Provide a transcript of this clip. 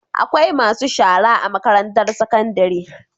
Akwai masu shara a makarantar sakandari